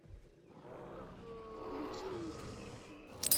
включи мистику